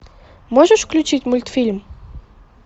можешь включить мультфильм